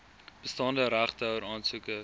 bestaande regtehouer aansoekers